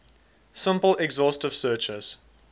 simple exhaustive searches